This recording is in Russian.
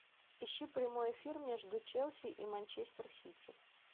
ищи прямой эфир между челси и манчестер сити